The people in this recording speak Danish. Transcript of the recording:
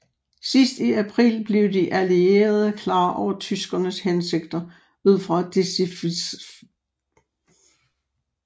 Sidst i april blev de allierede klar over tyskernes hensigter ud fra dechifrerede meddelelser fra Enigma